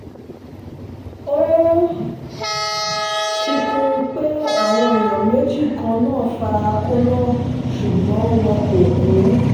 ó fi kún pé àwọn èèyàn méjì kan náà fara kóná ṣùgbọ́n wọn kò kú